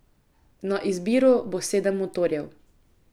Na izbiro bo sedem motorjev.